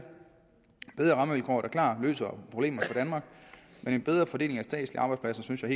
bedre rammevilkår der klart løser problemerne for danmark men en bedre fordeling af statslige arbejdspladser synes jeg